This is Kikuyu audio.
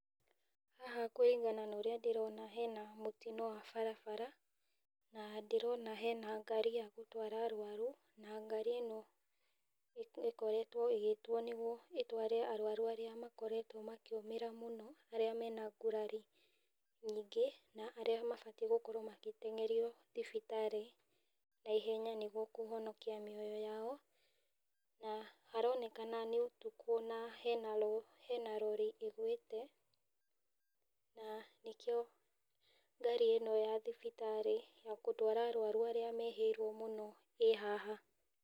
Haha kũringana na ũrĩa ndĩrona hena mũtino wa barabara, na ndĩrona hena ngari ya gũtwara arũaru, na ngari ĩno, ĩkoretwo ĩgĩtwo nĩguo ĩtware arwaru arĩa makoretwo makĩũmĩra mũno, arĩa mena ngũrari nyingĩ, na arĩa mabatiĩ gũkorwo magĩtengerio thibitarĩ na ihenya nĩguo kũhonikia mioyo yao. Na haronekana nĩ ũtuku na hena rori ĩgwĩte, na nĩkĩo ngari ĩno ya thibitarĩ ya gũtwara arũaru arĩa mehĩirwo mũno ĩ haha.